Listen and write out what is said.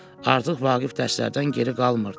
Artıq Vaqif dərslərdən geri qalmırdı.